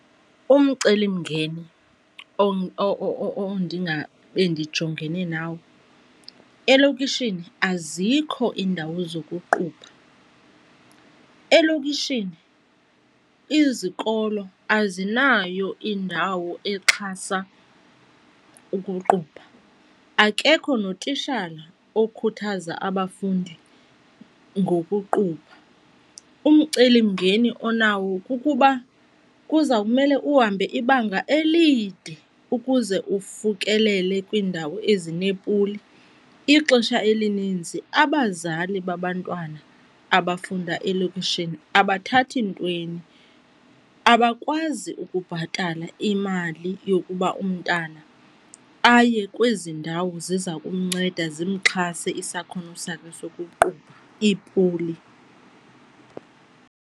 Umcelimngeni ondingabe ndijongene nawo elokishini azikho iindawo zokuqubha. Elokishini izikolo azinayo indawo exhasa ukuqubha, akekho notishala okhuthaza abafundi ngokuqubha. Umcelimngeni onawo kukuba kuza kumele uhambe ibanga elide ukuze ufikelele kwiindawo ezineepuli. Ixesha elininzi abazali babantwana abafunda elokishini abathathi ntweni, abakwazi ukubhatala imali yokuba umntana aye kwezi ndawo ziza kumnceda zimxhase isakhono sakhe sokuqubha, iipuli.